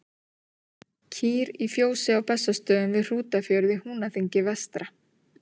Kýr í fjósi á Bessastöðum við Hrútafjörð í Húnaþingi vestra.